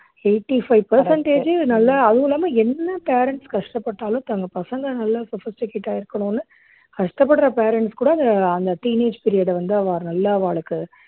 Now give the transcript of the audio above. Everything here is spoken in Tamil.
eighty-five percentage u நல்லா அதுவும் இல்லாம என்ன parents கஷ்டப்பட்டாலும் தங்க பசங்க நல்லா sophisticated ஆ இருக்கணும்னு கஷ்டப்படுற parents கூட அந்த teenage period அ வந்து அவா நல்லா அவாளுக்கு